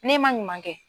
Ne ma ɲuman kɛ